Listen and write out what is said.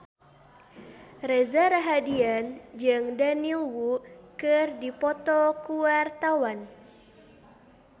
Reza Rahardian jeung Daniel Wu keur dipoto ku wartawan